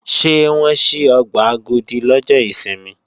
Ṣé wọ́n ṣí ọgbà Agodi lọ́jọ́ ìsinmi?